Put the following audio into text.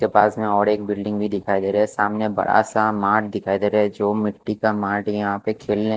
ते पास में एक और बिल्डिंग भी दिखाई दे रही है सामने बड़ा सा माट दिखाई दे रहा है जो मिटी का माट है यहाँ पे खेलने का--